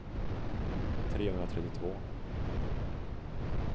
trehundratrettiotvå